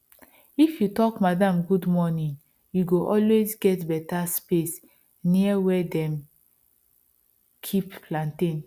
if you talk madam good morning you go always get better space near where dem keep plantain